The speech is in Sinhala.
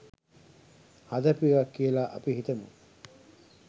හදපු එකක් කියලා අපි හිතමු.